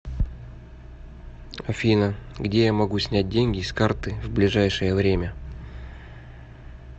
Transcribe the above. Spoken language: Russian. афина где я могу снять деньги с карты в ближайшее время